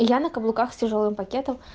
я на каблуках с тяжёлым пакетом